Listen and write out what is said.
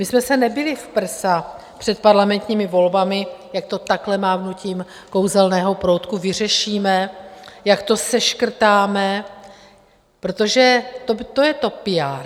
My jsme se nebili v prsa před parlamentními volbami, jak to takhle mávnutím kouzelného proutku vyřešíme, jak to seškrtáme, protože to je to PR.